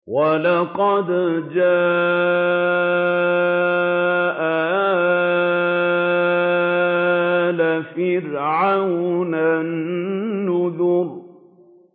وَلَقَدْ جَاءَ آلَ فِرْعَوْنَ النُّذُرُ